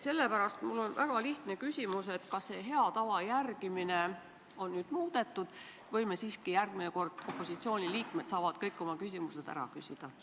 Sellepärast mul on väga lihtne küsimus: kas selle hea tava järgimist on nüüd muudetud või saavad opositsiooniliikmed järgmisel korral siiski kõik oma küsimused ära küsida?